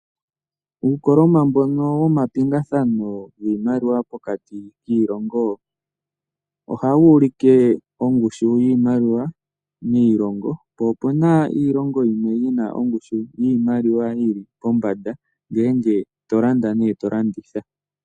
Uukoloma mbono womapingathano giimaliwa pokati kiilongo ohawu ulike ongushu yiimaliwa miilongo, po opu na iilongo yimwe yi na ongushu yiimaliwa yi li pombanda ngele to landa nenge to landitha.